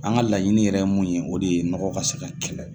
An ka laɲiniini yɛrɛ mun ye o de ye nɔgɔ ka se ka kɛlɛ.